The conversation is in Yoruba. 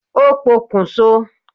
Ó pokùn so